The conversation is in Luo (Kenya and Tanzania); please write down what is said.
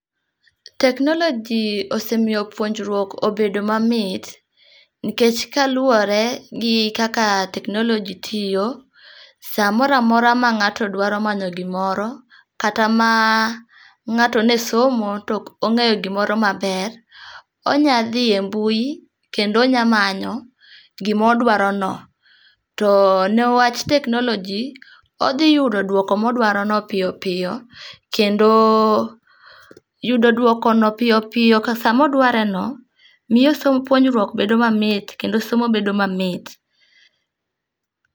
Teknoloji ose miyo puonjruok obedo mamit. Nikech kaluwore gi kaka teknoloji tiyo, samoro amora ma ng'ato dwaro manyo gimoro, kata ma ng'ato ne somo to ok ong'eyo gimoro maber, onya dhi embui kendo onya manyo gimodwaro no. To newach teknoloji, odhi yudo dwoko modwarono piyo piyo. Kendo yudo dwokono piyo piyo ka sama odwareno miyo somb puonjruok bedo mamit kendo somo bedo mamit.